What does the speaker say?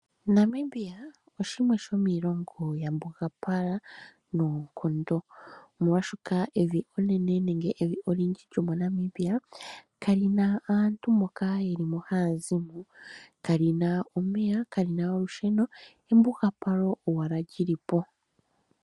Namibia oshimwe shomiilongo mbyoka ya mbugapala evi lyomonamibia kalina aantu moka ywlimo hayazim. Kalina omeya, kalina olushenl, embuga palo owala lilipo.